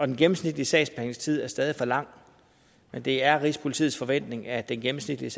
den gennemsnitlige sagsbehandlingstid er stadig for lang men det er rigspolitiets forventning at den gennemsnitlige